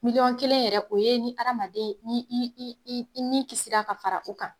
Miliyɔn kelen yɛrɛ o ye ni hadamaden ni i i i ni kisi la ka fara u kan.